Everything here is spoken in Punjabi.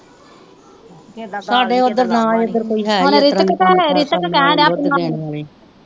ਸਾਡੇ ਓਧਰ ਨਾ ਈ ਇਧਰ ਕੋਈ ਹੈ ਈ ਆ ਇਸਤਰਾਂ ਦੀ ਕੰਮ ਕਾਰ ਕਰਨ ਵਾਲੀ ਬੁੱਧ ਦੇਣ ਵਾਲੀ ਨਾ